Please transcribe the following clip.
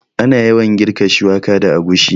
Ana yawan girka shuwaka da agushi